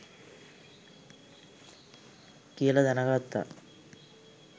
කියලා දැනගත්තා.